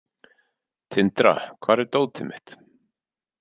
Tindra, hvar er dótið mitt?